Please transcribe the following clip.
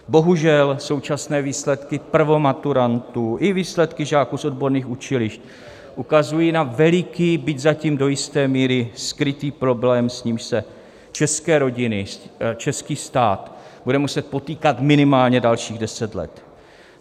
Bohužel současné výsledky prvomaturantů i výsledky žáků z odborných učilišť ukazují na veliký, byť zatím do jisté míry skrytý problém, s nímž se české rodiny, český stát budou muset potýkat minimálně dalších deset let.